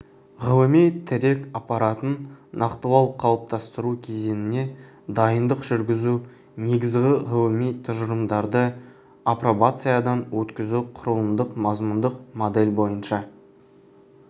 ғылыми тірек аппаратын нақтылау қалыптастыру кезеңіне дайындық жүргізу негізгі ғылыми тұжырымдарды апробациядан өткізу құрылымдық-мазмұндық модель бойынша